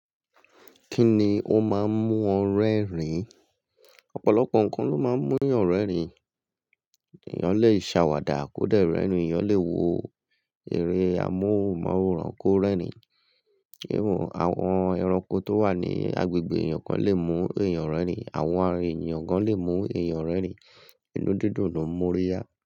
Kíni ó máa ń mú ọ rẹ́rìn-ín? Ọ̀pọ̀lọpọ̀ nǹkan ló máa ń mú èèyàn rẹ́rìn-ín. Èèyàn lè ṣàwàdà kódà ẹ̀rọ ìnù, èèyàn lè wo eré amóhùnmáwòrán kó rẹ́rìn-ín, iwọn àwọn ẹranko tó wà ní agbègbè èèyàn kan lè mú èèyàn rẹ́rìn-ín, àwọn ààrẹ èèyàn gan lè mú èèyàn rẹ́rìn-ín, inú dídùn ló ń mú ọ yá.